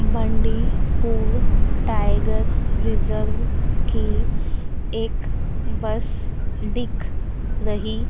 Bandipur tiger reserve की एक bus दिख रही--